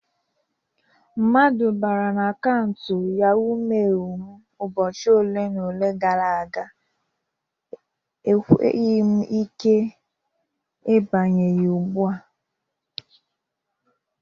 Mmadụ bara n'akaụnt YahoMeil m ụbọchị ole na ole gara aga. Ekweghi m ike ibanye ya ugbu a..